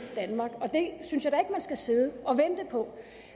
danmark og det synes jeg at man skal sidde og vente på